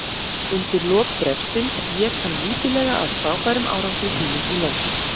Undir lok bréfsins vék hann lítillega að frábærum árangri sínum í London.